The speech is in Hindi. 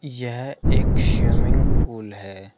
यह एक स्विमिंग पूल है।